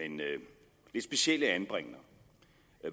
en specielle anbringender